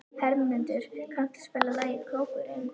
Hermundur, kanntu að spila lagið „Krókurinn“?